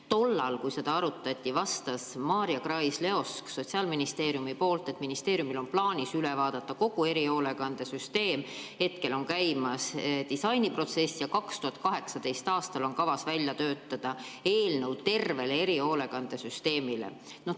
Tollal, kui seda arutati, vastas Maarja Krais-Leosk Sotsiaalministeeriumist, et ministeeriumil on plaanis üle vaadata kogu erihoolekandesüsteem, hetkel on käimas disainiprotsess ja 2018. aastal on kavas välja töötada eelnõu terve erihoolekandesüsteemi kohta.